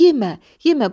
Yemə, yemə.